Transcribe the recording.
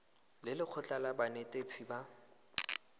le lekgotlha la banetetshi ba